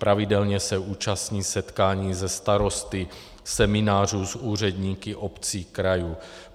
Pravidelně se účastní setkání se starosty, seminářů s úředníky obcí, krajů.